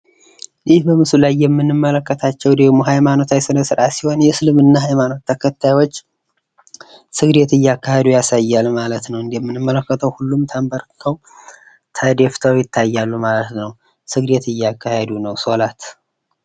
ይህ በምስሉ ላይ የምንመለከታቸው የሙስሊም ሃይማኖታዊ ስነስርዓት ሲሆን የሙስሊም ሃይማኖት ተከታዮች ስግደት እያካሄዱ ያሳያል ማለት ነው። እንደምንመለከተው ሁሉም ተንበርክከው ተደፍተው ይታያሉ ማለት ነው። ስግደት እያካሄዱ ነው ሶላት።